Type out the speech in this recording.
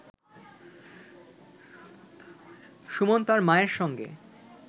সুমন তার মায়ের সঙ্গে